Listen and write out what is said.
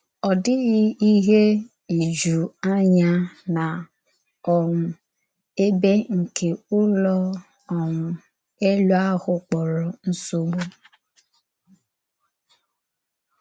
Ọ dị̀ghì íhè ìjù ànyà na um èbè nke Ụ́lọ̀ um Èlù ahụ kpọ̀rọ “Nsọ̀gbù.”